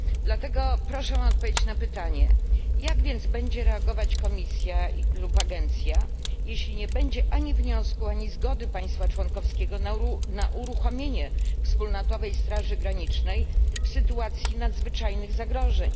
Dlatego proszę o odpowiedź na pytanie jak będzie reagować Komisja lub agencja, jeśli nie będzie ani wniosku, ani zgody państwa członkowskiego na uruchomienie wspólnotowej straży granicznej w sytuacji nadzwyczajnych zagrożeń?